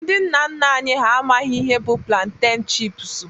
Ndị nna nna anyị ha amaghị ihe bụ planteñ chipsu